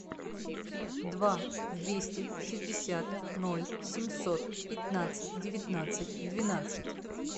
два двести шестьдесят ноль семьсот пятнадцать девятнадцать двенадцать